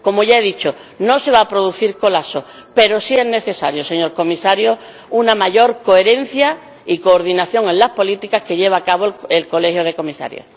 Como ya he dicho, no se va a producir ningún colapso, pero sí es necesaria, señor Comisario, una mayor coherencia y coordinación en las políticas que lleva a cabo el Colegio de Comisarios.